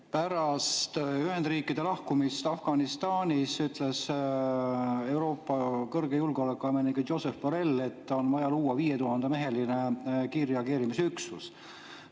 Pärast Ühendriikide lahkumist Afganistanist ütles Euroopa kõrge julgeolekuametnik Josep Borrell, et on vaja luua 5000-meheline kiirreageerimisüksus.